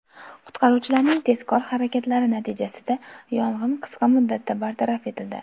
Qutqaruvchilarning tezkor harakatlari natijasida yong‘in qisqa muddatda bartaraf etildi.